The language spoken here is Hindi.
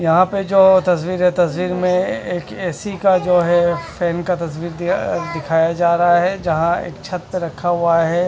यहा पे जो तस्वीर है तस्वीर में एक ए_सि का जो है फेन का तस्वीर दिया दिखाया जा रहा है जहा एक छत रखा हुआ है।